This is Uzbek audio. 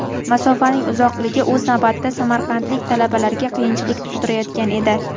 Masofaning uzoqligi o‘z navbatida samarqandlik talabalarga qiyinchilik tug‘dirayotgan edi.